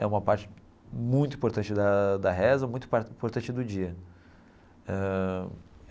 É uma parte muito importante da da reza, muito importante do dia ãh.